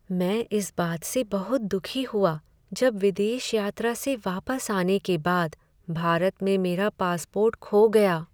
मैं इस बात से बहुत दुखी हुआ जब विदेश यात्रा से वापस आने के बाद भारत में मेरा पासपोर्ट खो गया।